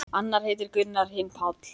Annar heitir Gunnar, hinn Páll.